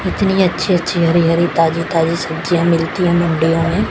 इतनी अच्छी अच्छी हरि हरि ताजी ताजी सब्जियां मिलती हैं मंडियों में।